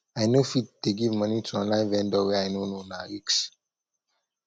i no fit give moni to online vendor wey i no know na risk